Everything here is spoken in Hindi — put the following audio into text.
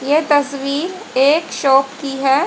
ये तस्वीर एक शॉप की है।